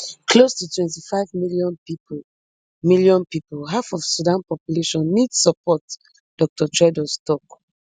close to twenty-five million pipo million pipo half of sudan population need support dr tedros tok